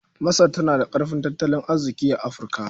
Masar tana da ƙarfin tattalin arziƙi a Afirka.